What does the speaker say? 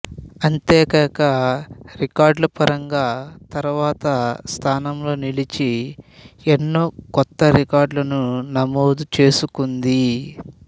అంతేకాక రికార్డుల పరంగా తరువాత స్థానంలో నిలిచి ఎన్నో కొత్త రికార్డులను నమోదుచేసుకుంది